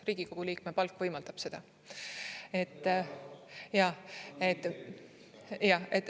Riigikogu liikme palk võimaldab seda.